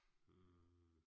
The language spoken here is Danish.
Hm